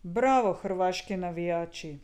Bravo, hrvaški navijači!